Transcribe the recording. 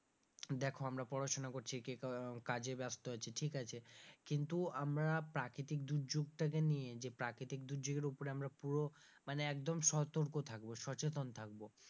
দেখো আমরা পড়াশোনা করছি কিন্তু কাজে ব্যস্ত আছি ঠিক আছে কিন্তু আমরা প্রাকৃতিক দুর্যোগ টাকে নিয়ে যে প্রাকৃতিক দুর্যোগ এর ওপরে আমরা পুরো মানে একদম সতর্ক থাকবো সচেতন থাকবো,